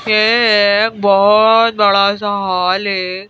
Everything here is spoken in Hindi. ये अ अ एक बहुत बड़ा सा हाल है।